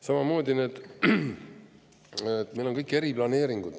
Samamoodi, meil on kõik need eriplaneeringud.